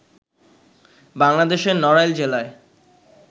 বাংলাদেশের নড়াইল জেলায়